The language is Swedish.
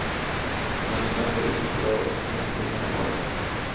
Den elegante ryssen drar med sig hela laget.